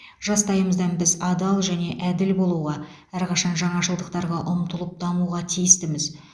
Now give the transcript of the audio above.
жастайымыздан біз адал және әділ болуға әрқашан жаңашылдықтарға ұмтылып дамуға тиістіміз